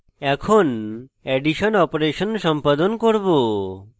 in addition operation সম্পাদন করব